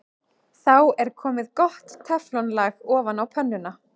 Þá er komið gott teflon-lag ofan á pönnuna.